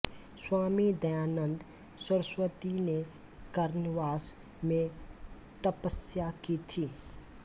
स्वामी दयानन्द सरस्वती ने कर्णवास में तपस्या की थी